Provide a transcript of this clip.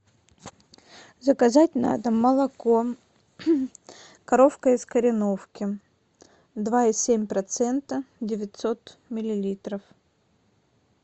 заказать на дом молоко коровка из кореновки два и семь процента девятьсот миллилитров